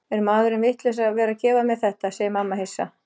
Er maðurinn vitlaus að vera að gefa mér þetta, segir mamma hissa.